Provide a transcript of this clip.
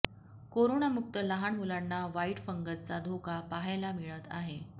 कोरोनामुक्त लहान मुलांना व्हाईट फंगसचा धोका पाहायला मिळत आहे